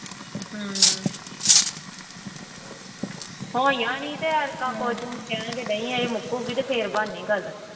ਹਮ ਹੋਈਆਂ ਨੀ ਤੇ ਐਰਕਾਂ ਕੁੱਝ ਕਹਿਣ ਤੇ ਡਈ ਇਹ ਮੁੱਕੇਗੀ ਤੇ ਫਿਰ ਬਣਨੀ ਗੱਲ।